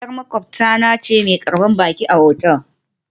Yar maƙwabta na ce mai karbar baki a otal